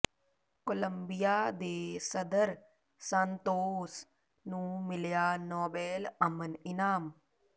Columbia ਦੇ ਸਦਰ Santos ਨੂੰ ਮਿਲਿਆ ਨੋਬੇਲ ਅਮਨ ਇਨਾਮ